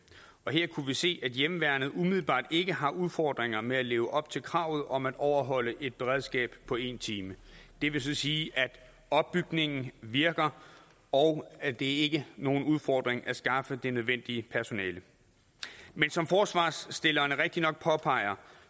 og her kunne vi se at hjemmeværnet umiddelbart ikke har udfordringer med at leve op til kravet om at overholde et beredskab på en time det vil sige at opbygningen virker og at det ikke nogen udfordring at skaffe det nødvendige personale men som forslagsstillerne rigtigt nok påpeger